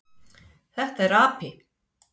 Þetta er api.